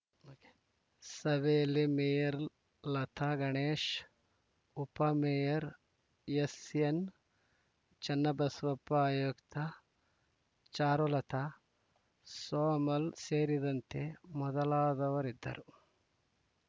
ಸಭೆಯಲ್ಲಿ ಮೇಯರ್‌ ಲತಾ ಗಣೇಶ್‌ ಉಪಮೇಯರ್‌ ಎಸ್‌ಎನ್‌ಚನ್ನಬಸವಪ್ಪ ಆಯುಕ್ತ ಚಾರುಲತ ಸೋಮಲ್‌ ಸೇರಿದಂತೆ ಮೊದಲಾದವರಿದ್ದರು